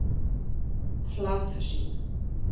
Flatasíðu